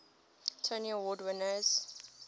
tony award winners